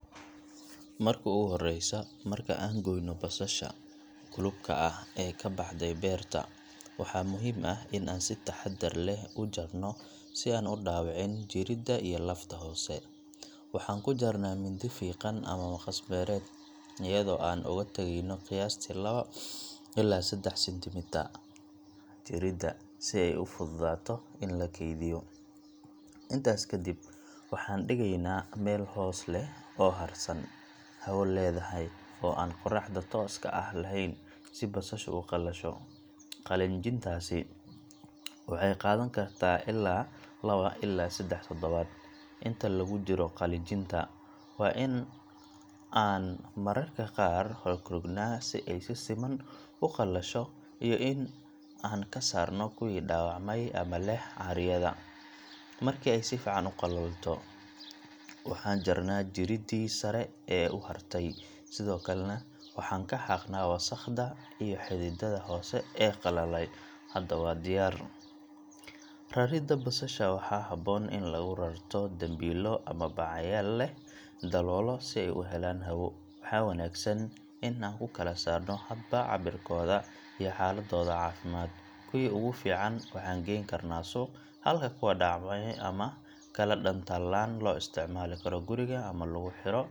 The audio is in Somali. Marka ugu horreysa, marka aan goyno basasha guluubka ah ee ka baxday beerta, waa muhiim in aan si taxaddar leh u jarno si aan u dhaawicin jirida iyo lafta hoose. Waxaan ku jarnaa mindi fiiqan ama maqas beereed, iyadoo aan uga tageyno qiyaastii lawo ilaa seddax centimeter jirida si ay u fududaato in la kaydiyo. Intaas ka dib, waxaan dhigeynaa meel hoos leh oo hadhsan, hawo leedahay oo aan qorraxda tooska ah laheyn si basashu u qalasho. Qalajintaasi waxay qaadan kartaa ilaa lawo ilaa seddax toddobaad. Inta lagu jiro qalajinta, waa in aan mararka qaar rogrognaa si ay si siman u qalasho, iyo in aan ka saarno kuwii dhaawacmay ama leh caaryada. Markii ay si fiican u qalato, waxaan jarnaa jiridii sare ee u hartay, sidoo kalena waxaan ka xaaqnaa wasakhda iyo xididdada hoose ee qallalay. Hadda waa diyaar. Raridda basasha waxaa habboon in lagu rarto dambiilo ama bacyaal leh daloolo si ay u helaan hawo. Waxaa wanaagsan in aan ku kala saarno hadba cabbirkooda iyo xaaladdooda caafimaad. Kuwii ugu fiican waxaan geyn karnaa suuq, halka kuwa dhaawacmay ama kala dhantaalan loo isticmaali karo guriga ama lagu xidho.